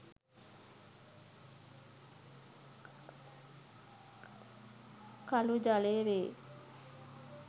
කඵ ජලය වේ.